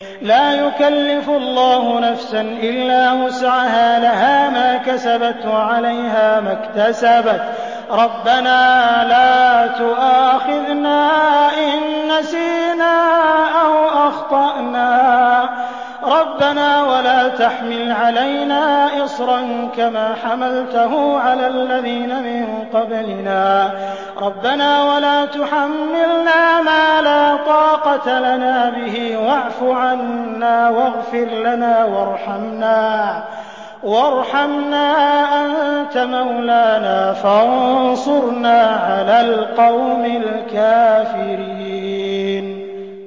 لَا يُكَلِّفُ اللَّهُ نَفْسًا إِلَّا وُسْعَهَا ۚ لَهَا مَا كَسَبَتْ وَعَلَيْهَا مَا اكْتَسَبَتْ ۗ رَبَّنَا لَا تُؤَاخِذْنَا إِن نَّسِينَا أَوْ أَخْطَأْنَا ۚ رَبَّنَا وَلَا تَحْمِلْ عَلَيْنَا إِصْرًا كَمَا حَمَلْتَهُ عَلَى الَّذِينَ مِن قَبْلِنَا ۚ رَبَّنَا وَلَا تُحَمِّلْنَا مَا لَا طَاقَةَ لَنَا بِهِ ۖ وَاعْفُ عَنَّا وَاغْفِرْ لَنَا وَارْحَمْنَا ۚ أَنتَ مَوْلَانَا فَانصُرْنَا عَلَى الْقَوْمِ الْكَافِرِينَ